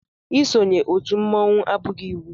Isonye otú mmọnwu abụghị iwu.